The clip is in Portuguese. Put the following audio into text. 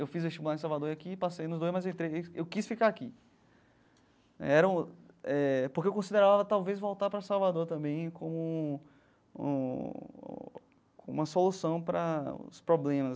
Eu fiz vestibular em Salvador aqui e passei nos dois, mas entrei eu quis ficar aqui, né era um eh porque eu considerava talvez voltar para Salvador também como um como uma solução para os problemas.